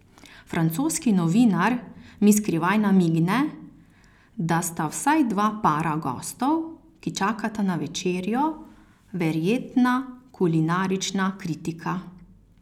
Francoski novinar mi skrivaj namigne, da sta vsaj dva para gostov, ki čakata na večerjo, verjetna kulinarična kritika.